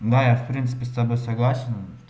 ну я в принципе с тобой согласен